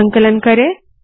संकलन करे